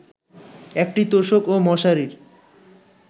একটি তোশক ও মশারির